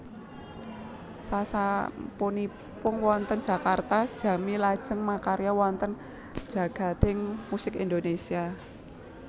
Sasampunipun wonten Jakarta Jamie lajeng makarya wonten jagading musik Indonésia